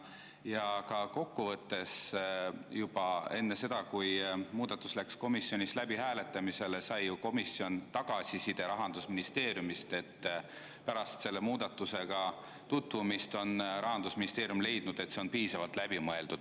Ja ka kokkuvõttes juba enne seda, kui muudatus läks komisjonis hääletamisele, sai komisjon tagasiside Rahandusministeeriumist, et pärast selle muudatusega tutvumist on Rahandusministeerium leidnud, et see on piisavalt läbi mõeldud.